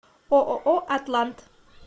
ооо атлант